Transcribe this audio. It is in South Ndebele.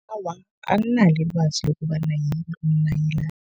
Awa, anginalo ilwazi lokobana yini umnayilani.